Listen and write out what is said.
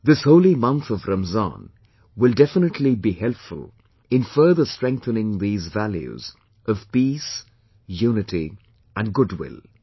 This holy month of Ramzan will definitely be helpful in further strengthening these values of peace, unity and goodwill